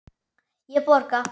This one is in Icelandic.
Ég borga.